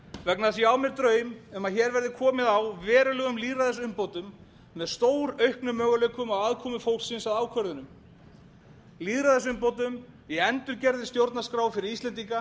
vegna þess að ég á mér draum um að hér verði komið á verulegum lýðræðisumbótum með stórauknum möguleikum á aðkomu fólksins að ákvörðunum lýðræðisumbótum í endurgerðri stjórnarskrá fyrir íslendinga